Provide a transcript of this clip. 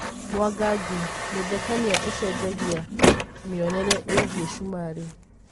Mwangangi: Muthekania ucenjagĩa mĩonere ĩgĩĩ cumarĩ.